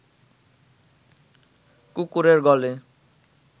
কুকুরের গলে